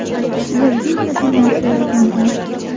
Ularga esa bu narsa yoqmagan.